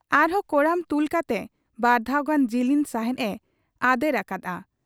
ᱟᱨᱦᱚᱸ ᱠᱚᱲᱟᱢ ᱛᱩᱞ ᱠᱟᱛᱮ ᱵᱟᱨᱫᱷᱟᱣ ᱜᱟᱱ ᱡᱤᱞᱤᱧ ᱥᱟᱦᱮᱸᱫ ᱮ ᱟᱫᱮᱨ ᱟᱠᱟᱜ ᱟ ᱾